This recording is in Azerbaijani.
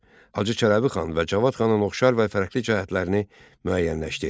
Hacı Çələbi xan və Cavad xanın oxşar və fərqli cəhətlərini müəyyənləşdir.